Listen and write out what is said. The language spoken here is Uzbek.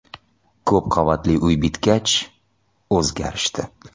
Ko‘p qavatli uy bitgach, o‘zgarishdi.